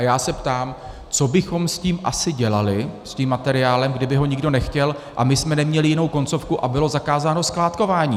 A já se ptám: Co bychom s tím asi dělali, s tím materiálem, kdyby ho nikdo nechtěl a my jsme neměli jinou koncovku a bylo zakázáno skládkování?